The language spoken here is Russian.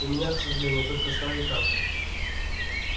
у меня к сожалению только старые карты